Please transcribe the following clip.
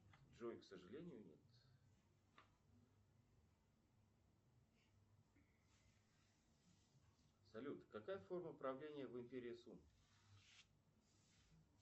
джой к сожалению нет салют какая форма правления в империи сун